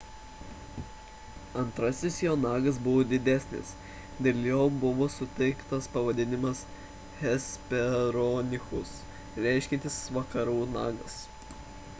antrasis jo nagas buvo didesnis dėl jo buvo suteiktas pavadinimas hesperonychus reiškiantis vakarų nagas